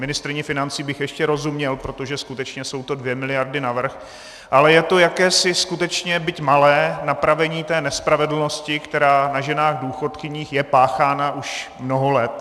Ministryni financí bych ještě rozuměl, protože skutečně jsou to dvě miliardy navrch, ale je to jakési skutečně, byť malé, napravení té nespravedlnosti, která na ženách důchodkyních je páchána už mnoho let.